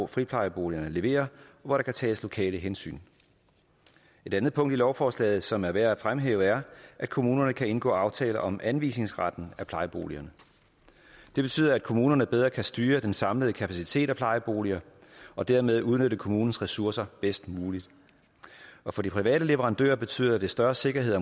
friplejeboligerne leverer og hvor der kan tages lokale hensyn et andet punkt i lovforslaget som er værd fremhæve er at kommunerne kan indgå aftale om anvisningsretten af plejeboligerne det betyder at kommunerne bedre kan styre den samlede kapacitet af plejeboliger og dermed udnytte kommunens ressourcer bedst muligt for de private leverandører betyder det større sikkerhed